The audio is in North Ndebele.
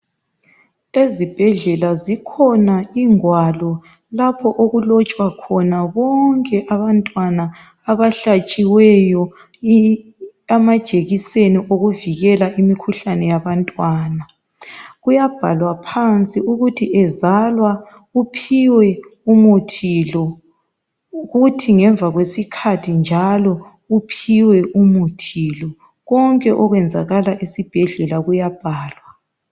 Ezibhedlela zikhona ingwalo lapho okulotshwa khona bonke abantwana abahlatshiweyo amajekiseni okuvikela imikhuhlane yabantwana. Kuyabhalwa phansi ukuthi ezalwa uphiwe umuthi lo. Kuthi ngemva kwesikhathi njalo uphiwe umuthi lo . Konke okuyenzakala esibhedlela kuyabhalwa.